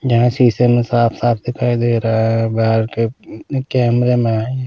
यहां शीशे में साफ-साफ दिखाई दे रहा है बाहर के कैमरे में है।